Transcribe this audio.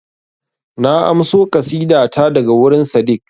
Na amso ƙasida ta daga wurin Sadeeq